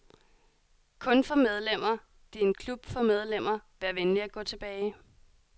Kun for medlemmer, det er en klub for medlemmer, vær venlig at gå tilbage.